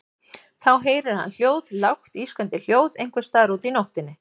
Og þá heyrir hann hljóð, lágt ískrandi hljóð einhvers staðar úti í nóttinni.